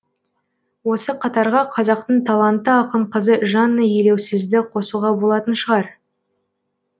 осы қатарға қазақтың талантты ақын қызы жанна елеусізді қосуға болатын шығар